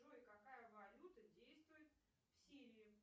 джой какая валюта действует в сирии